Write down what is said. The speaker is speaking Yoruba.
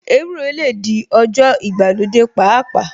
Ewúro lè di ọjọ́ ìgbàlódé pàápàá